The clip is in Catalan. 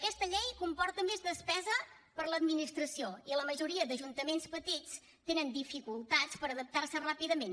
aquesta llei comporta més despesa per a l’administració i la majoria d’ajuntaments petits tenen dificultats per adaptar s’hi ràpidament